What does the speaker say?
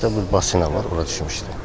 Həyətdə bir basinə var, ora düşmüşdü.